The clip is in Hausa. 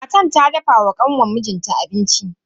Matar ta dafa wa kanwan mijin ta abinci.